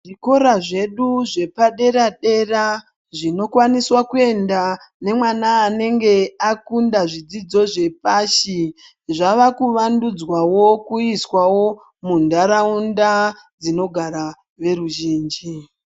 Zvikora zvedu zvepadera-dera zvinokwaniswa kuendwa nemwana anenge akunda zvidzidzo zvepashi, zvavakuvandudzwawo kuiswawo muntaraunda dzinogara veruzhinji.